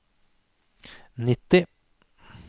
nitti